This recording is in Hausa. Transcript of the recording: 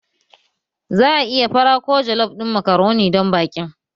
Za ayi fara ko jollof ɗin makaroni don baƙin